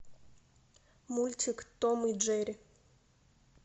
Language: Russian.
мультик том и джерри